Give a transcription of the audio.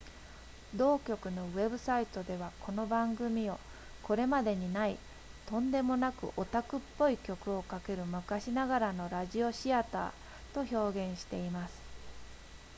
同局のウェブサイトでは、この番組を「これまでにない、とんでもなくオタクっぽい曲をかける昔ながらのラジオシアター！」と表現しています